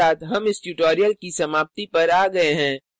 इसी के साथ हम इस tutorial की समाप्ति पर आ गए हैं